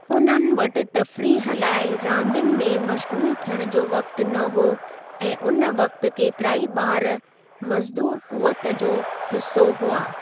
उन्हनि वटि तफ़रीह लाइ रांदियुनि में मश्ग़ूलु थियणु जो वक़्ति न हुओ ऐं उन वक़्ति केतिराई ॿारु मज़दूर क़ुव्वत जो हिसो हुआ।